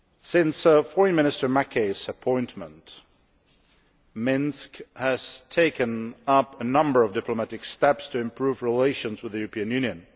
Since Foreign Minister Makey's appointment, Minsk has taken a number of diplomatic steps to improve relations with the European Union.